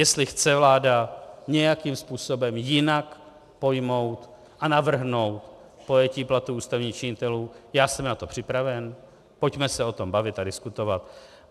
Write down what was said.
Jestli chce vláda nějakým způsobem jinak pojmout a navrhnout pojetí platů ústavních činitelů, já jsem na to připraven, pojďme se o tom bavit a diskutovat.